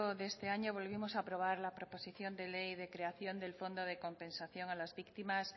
de este año volvimos aprobar la proposición de ley del fondo de compensación a las víctimas